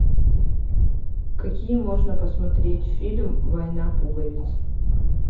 какие можно посмотреть фильм война пуговиц